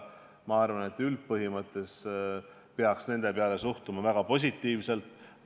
Ma arvan, et üldpõhimõttes peaks nendesse suhtuma väga positiivselt.